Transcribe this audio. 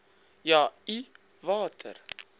ja i watter